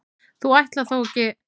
þú ætlar þó ekki.